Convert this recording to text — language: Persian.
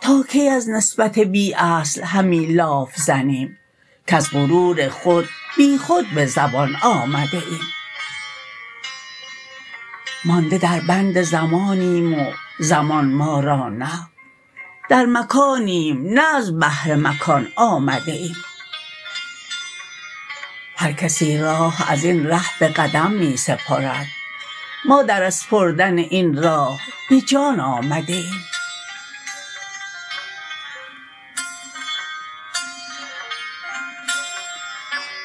تا کی از نسبت بی اصل همی لاف زنیم کز غرور خود بی خود به زبان آمده ایم مانده در بند زمانیم و زمان ما را نه در مکانیم نه از بهر مکان آمده ایم هر کسی راه ازین ره به قدم می سپرد ما در اسپردن این راه به جان آمده ایم